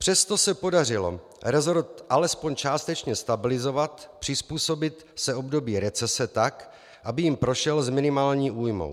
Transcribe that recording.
Přesto se podařilo resort alespoň částečně stabilizovat, přizpůsobit se období recese tak, aby jím prošel s minimální újmou.